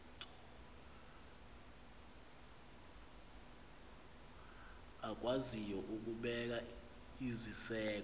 akwaziyo ukubeka iziseko